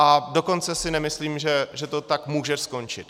A dokonce si nemyslím, že to tak může skončit.